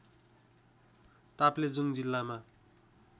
ताप्लेजुङ जिल्लामा